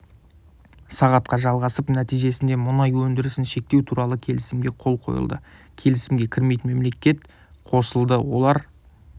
сағатқа жалғасып нәтижесінде мұнай өндірісін шектеу туралы келісімге қол қойылды келісімге кірмейтін мемлекет қосылды олар